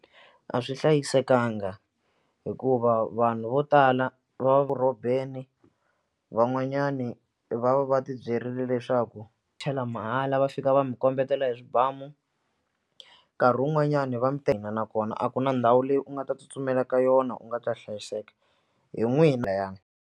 A swi hlayisekanga hikuva vanhu vo tala va va van'wanyani va va va ti byerile leswaku mahala va fika va mi kombetela hi swibamu nkarhi wun'wanyani va mi hina nakona a ku na ndhawu leyi u nga ta tsutsumela ka yona u nga ta hlayiseka hi .